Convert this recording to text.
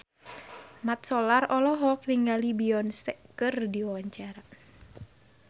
Mat Solar olohok ningali Beyonce keur diwawancara